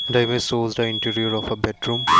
the image shows the interior of a bedroom.